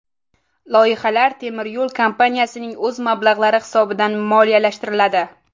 Loyihalar temiryo‘l kompaniyasining o‘z mablag‘lari hisobidan moliyalashtiriladi.